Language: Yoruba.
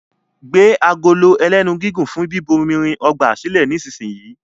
gbé Agolo ẹlẹ́nu gígùn fún bíbomirin ọgbà silẹ nísìsiyìí!